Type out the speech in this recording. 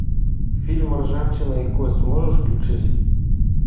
фильм ржавчина и кость можешь включить